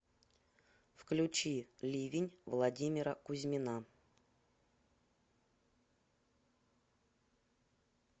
включи ливень владимира кузьмина